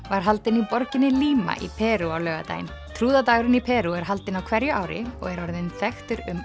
var haldinn í borginni Lima í Perú á laugardaginn í Perú er haldinn á hverju ári og er orðinn þekktur um